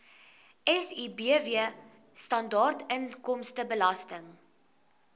sibw standaard inkomstebelasting